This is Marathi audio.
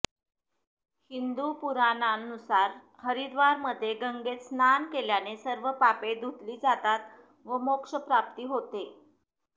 हिंदू पुराणानुसार हरिद्वारमध्ये गंगेत स्नान केल्याने सर्व पापे धुतली जातात व मोक्षप्राप्ती होते